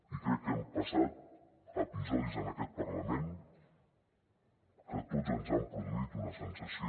i crec que hem passat episodis en aquest parlament que a tots ens han produït una sensació